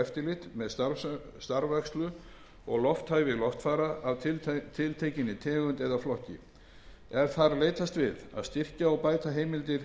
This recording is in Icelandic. eftirlit með starfrækslu og lofthæfi loftfara af tiltekinni tegund eða flokki er þar leitast við að styrkja og bæta heimildir